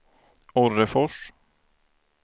Orrefors